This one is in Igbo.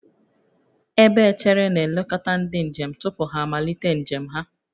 Ebe echere na-elekọta ndị njem tupu ha amalite njem ha